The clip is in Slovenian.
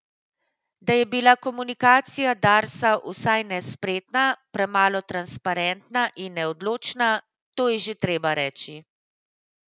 Da je bila komunikacija Darsa vsaj nespretna, premalo transparentna in neodločna, to je že treba reči.